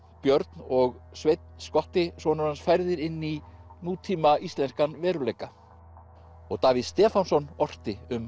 Björn og Sveinn skotti sonur hans færðir inn í nútíma íslenskan veruleika og Davíð Stefánsson orti um